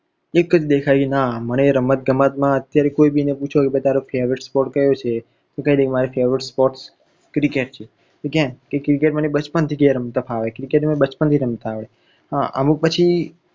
અકે જ દેખાય, ના મને રમત ગમતમાં અત્યારે કોઈ પણ ને પૂછો તો કહે કે તારો favourite sports કયો છે. તો કઈ દે કે મારો favourite sports cricket છે. કેમ તો cricket મને બચપણ થી રમત ફાવે. cricket મને બચપણ થી આવડે અમુક પછી